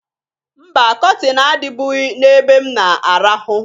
Mba! Kọtịn adịbụghị n'ebe m na-arahụ.